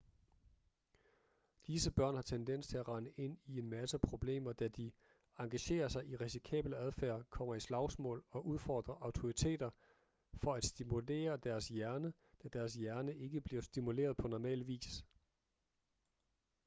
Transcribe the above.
disse børn har tendens til at rende ind i en masse problemer da de engagerer sig i risikabel adfærd kommer i slagsmål og udfordrer autoriteter for at stimulere deres hjerne da deres hjerne ikke bliver stimuleret på normal vis